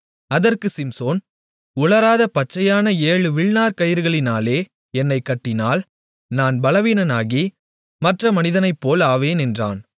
அதற்குச் சிம்சோன் உலராத பச்சையான ஏழு வில்நார்க் கயிறுகளினாலே என்னைக் கட்டினால் நான் பலவீனனாகி மற்ற மனிதனைப்போல் ஆவேன் என்றான்